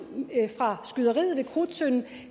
fra skyderiet ved krudttønden